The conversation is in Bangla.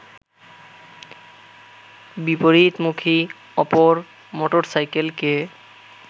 বিপরীতমুখী অপর মোটরসাইকেলকে